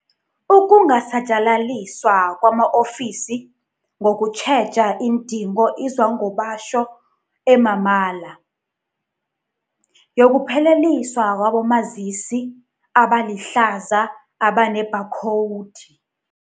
Ukungasatjalaliswa kwama-ofisi ngokutjheja iindingo Izwangobatjho emamala yokupheliswa kwabomazisi abalihlaza abanebhakhowudi.